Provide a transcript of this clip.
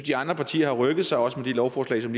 de andre partier har rykket sig også med de lovforslag som